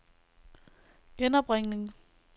genopringning